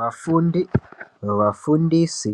Vafundi vafundisi